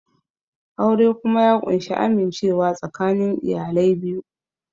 Aure kuma ya ƙunshi amincewa tsakanin iyalai biyu